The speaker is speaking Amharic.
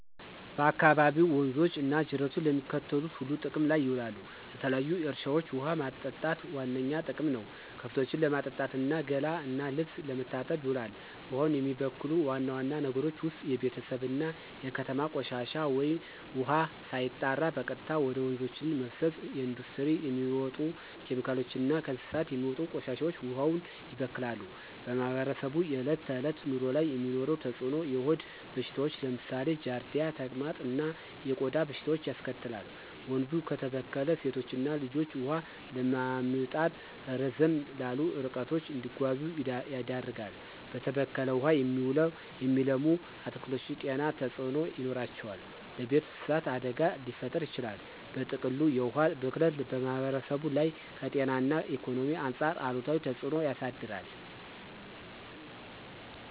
በአካባቢዎ ወንዞች እና ጅረቶች ለሚከተሉት ሁሉ ጥቅም ላይ ይውላሉ -ለተለያዩ እርሻዎች ውሃ ማጠጣት ዋነኛ ጥቅም ነው፣ ከብቶችን ለማጠጣት እና ገላ እና ልብስ ለመታጠብ ይውላል። ውሃውን የሚበክሉ ዋና ዋና ነገሮች ውስጥ የቤተሰብ እና የከተማ ቆሻሻ ውሃ ሳይጣራ በቀጥታ ወደ ወንዞች መፍሰስ፣ የኢንዱስትሪ የሚወጡ ኬሚካሎች እና ከእንስሳት የሚወጡ ቆሻሻዎች ውሃውን ያበክላሉ። በማህበረሰቡ የዕለት ተዕለት ኑሮ ላይ የሚኖረው ተጽዕኖ -የሆድ በሽታዎች (ለምሳሌ ጃርዲያ፣ ተቅማጥ) እና የቆዳ በሽታዎች ያስከትላል፣ ወንዙ ከተበከለ ሴቶችና ልጆች ውሃ ለማምጣት ረዘም ላሉ ርቀቶች እንዲጓዙ ያደርጋል፣ በተበከለ ውሃ የሚለሙ አትክልቶች ጤና ተጽዕኖ ይኖራቸዋል፣ ለቤት እንስሳት አደጋ ሊፈጥር ይችላል። በጥቅሉ፣ የውሃ ብክለት በማህበረሰቡ ላይ ከጤና እና ኢኮኖሚ አንጻር አሉታዊ ተጽዕኖ ያሳድራል።